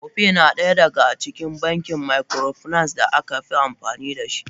Opay na daya daga bankin microfinance da aka fi amfani dashi.